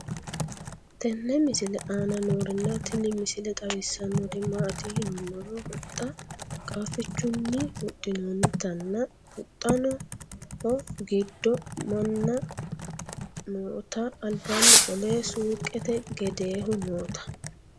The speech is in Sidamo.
tenne misile aana noorina tini misile xawissannori maati yinummoro huxxa qaaffichchunni huxinoonnittanna huxxaho gidoo Minna nootta. Alibbanni qole suuqqette gedeehu nootta